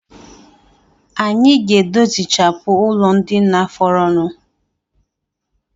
Anyi ga-edozichapụ ụlọndina fọrọnụ